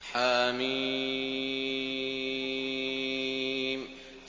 حم